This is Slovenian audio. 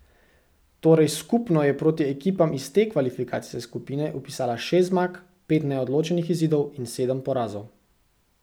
Torej skupno je proti ekipam iz te kvalifikacijske skupine vpisala šest zmag, pet neodločenih izidov in sedem porazov.